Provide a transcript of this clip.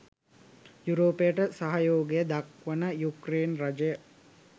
යුරෝපයට සහයෝගය දක්වන යුක්රේන රජය